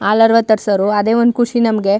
ಹಾಲರ್ವ ತರಿಸೋವ್ರು ಅದೇ ಒಂದು ಖುಷಿ ನಮಗೆ.